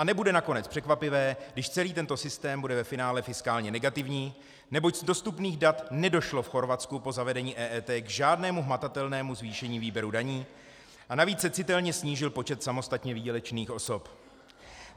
A nebude nakonec překvapivé, když celý tento systém bude ve finále fiskálně negativní, neboť z dostupných dat nedošlo v Chorvatsku po zavedení EET k žádnému hmatatelnému zvýšení výběru daní a navíc se citelně snížil počet samostatně výdělečných osob.